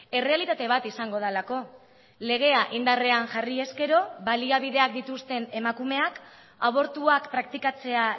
errealitate bat izango delako legea indarrean jarri ezkero baliabideak dituzten emakumeak abortuak praktikatzea